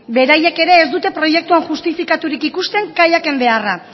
beraiek ere ez dute proiektua justifikaturik ikusten kaiaken beharra